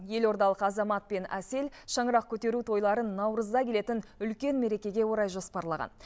елордалық азамат пен әсел шаңырақ көтеру тойларын наурызда келетін үлкен мерекеге орай жоспарлаған